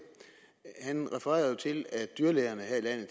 han refererede til at dyrlægerne her